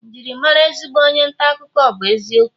Njirimara ezigbo onye nta akụkọ bu eziokwu